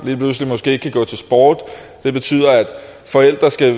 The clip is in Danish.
måske kan gå til sport det betyder at forældre skal